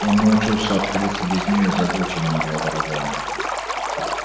он научился обходиться без нее и забыл чем она была дорога ему